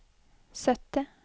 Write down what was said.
sytti